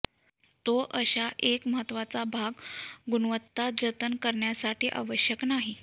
तो अशा एक महत्त्वाचा भाग गुणवत्ता जतन करण्यासाठी आवश्यक नाही